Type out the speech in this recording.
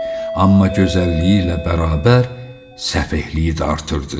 Amma gözəlliyi ilə bərabər səfehliyi də artırırdı.